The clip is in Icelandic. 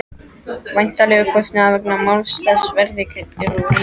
Væntanlegur kostnaður vegna máls þessa verði greiddur úr ríkissjóði.